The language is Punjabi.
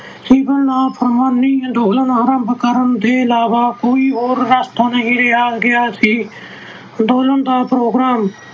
ਸਿਵਲ-ਨਾ-ਫੁਰਮਾਨੀ ਅੰਦੋਲਨ ਆਰੰਭ ਦੇ ਇਲਾਵਾ ਹੋਰ ਕੋਈ ਰਸਤਾ ਨਹੀਂ ਰਹਿ ਗਿਆ ਸੀ। ਅੰਦੋਲਨ ਦਾ program